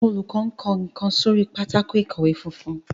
olùkó nkó nkán sórí Pátákó ìkọ̀wé funfun.